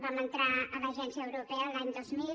vam entrar a l’agència europea l’any dos mil